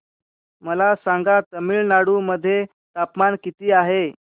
मला सांगा तमिळनाडू मध्ये तापमान किती आहे